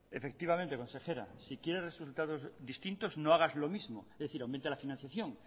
efectivamente consejera si quiere resultados distintos no hagas lo mismo es decir aumente la financiación